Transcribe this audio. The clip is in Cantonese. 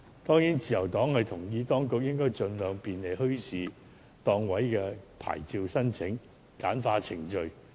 當然，自由黨認同當局應該盡量簡化墟市檔位的牌照申請程序。